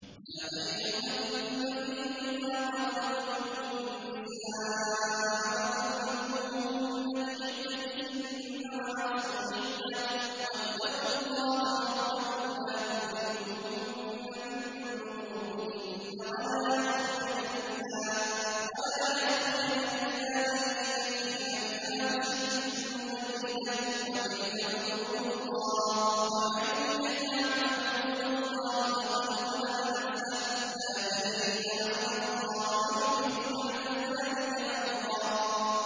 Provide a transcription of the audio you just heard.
يَا أَيُّهَا النَّبِيُّ إِذَا طَلَّقْتُمُ النِّسَاءَ فَطَلِّقُوهُنَّ لِعِدَّتِهِنَّ وَأَحْصُوا الْعِدَّةَ ۖ وَاتَّقُوا اللَّهَ رَبَّكُمْ ۖ لَا تُخْرِجُوهُنَّ مِن بُيُوتِهِنَّ وَلَا يَخْرُجْنَ إِلَّا أَن يَأْتِينَ بِفَاحِشَةٍ مُّبَيِّنَةٍ ۚ وَتِلْكَ حُدُودُ اللَّهِ ۚ وَمَن يَتَعَدَّ حُدُودَ اللَّهِ فَقَدْ ظَلَمَ نَفْسَهُ ۚ لَا تَدْرِي لَعَلَّ اللَّهَ يُحْدِثُ بَعْدَ ذَٰلِكَ أَمْرًا